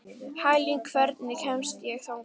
Hagalín, hvernig kemst ég þangað?